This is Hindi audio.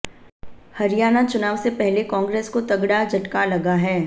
हरियाणा चुनाव से पहले कांग्रेस को तगड़ा झटका लगा है